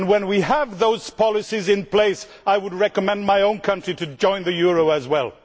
When we have those policies in place I would recommend my own country to join the euro as well.